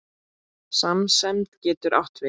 Samsemd getur átt við